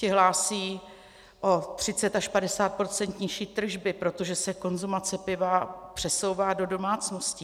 Ty hlásí o 30 až 50 % nižší tržby, protože se konzumace piva přesouvá do domácností.